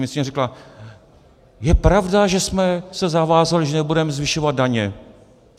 Ministryně řekla: je pravda, že jsme se zavázali, že nebudeme zvyšovat daně.